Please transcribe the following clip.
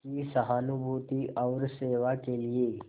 की सहानुभूति और सेवा के लिए